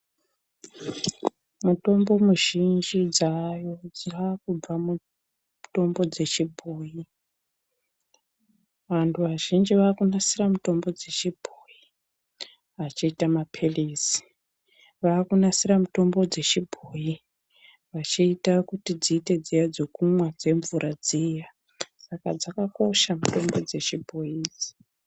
Mutombo muzhinji dzaayo dzaakubva mumutombo dzechibhoyi. Vantu vazhinji vaakunasira mitombo dzechibhoyi vachiita maphilizi. Vaakunasira mitombo dzechibhoyi, vachiita kuti dziite dziya dzekumwa, dzemvura dziya. Saka dzakakosha mitombo dzechibhoyi idzi.